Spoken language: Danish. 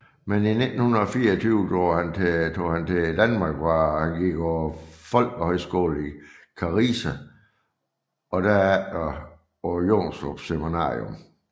Men i 1924 drog han til Danmark hvor han gik på folkehøjskolen i Karise og derefter på Jonstrup Seminarium